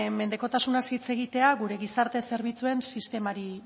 mendekotasunaz hitz egitea gure gizarte zerbitzuen sistemari